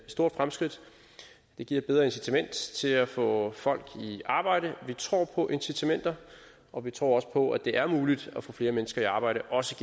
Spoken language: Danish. stort fremskridt det giver et bedre incitament til at få folk i arbejde og vi tror på incitamenter og vi tror også på at det er muligt at få flere mennesker i arbejde også